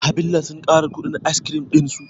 Havillah sun ƙara kuɗin askirim ɗinsu